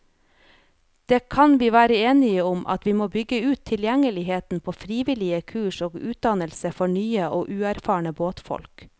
Det vi kan være enige om, er at vi må bygge ut tilgjengeligheten på frivillige kurs og utdannelse for nye og uerfarne båtfolk.